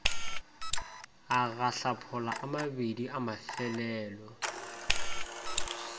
a gaphala amabedi amafelelo ie